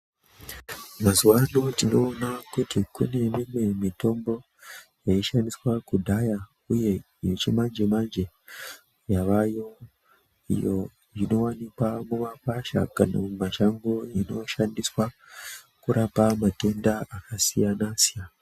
Mazuwaano tinoona kuti kune mimwe mitombo, yaishandiswa kudhaya uye yechimanje-manje, yavayo iyo inowanikwa mumakwasha kana mumashango inoshandiswa, kurapa matenda akasiyana-siyana.